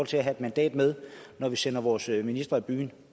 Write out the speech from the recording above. til at have et mandat med når vi sender vores minister i byen